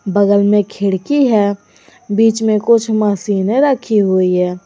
बगल में एक खिड़की बीच में कुछ मशीनें रखी हुई है।